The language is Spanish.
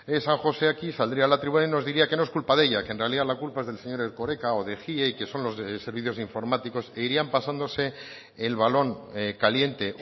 san josé aquí saldría a la tribuna y nos diría que no es culpa de ella que en realidad la culpa es del señor erkoreka o de ejie y que son los de servicios informáticos e irían pasándose el balón caliente